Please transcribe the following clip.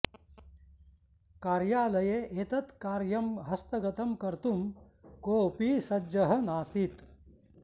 कार्यालये एतत् कार्यं हस्तगतं कर्तुं कोऽपि सज्जः नासीत्